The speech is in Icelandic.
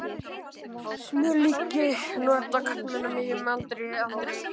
Smjörlíki nota karlmenn á miðjum aldri aldrei.